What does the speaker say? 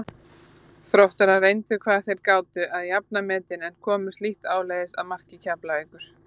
Þróttarar reyndu hvað þeir gátu að jafna metin en komust lítt áleiðis að marki Keflavíkur.